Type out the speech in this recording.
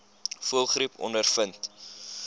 voëlgriep ondervind